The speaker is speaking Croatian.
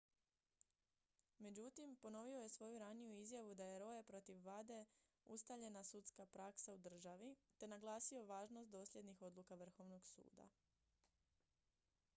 međutim ponovio je svoju raniju izjavu da je roe protiv wade ustaljena sudska praksa u državi te naglasio važnost dosljednih odluka vrhovnog suda